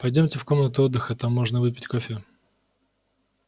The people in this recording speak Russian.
пойдёмте в комнату отдыха там можно выпить кофе